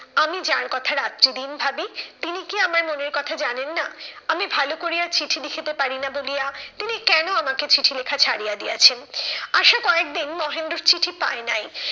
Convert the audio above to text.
আমি যার কথা রাত্রি দিন ভাবি, তিনি কি আমার মনের কথা জানেন না? আমি ভালো করিয়া চিঠি লিখিতে পারিনা বলিয়া, তিনি কেন আমাকে চিঠি লেখা ছাড়িয়া দিয়েছেন। আশা কয়েকদিন মহেন্দ্রর চিঠি পায় নাই,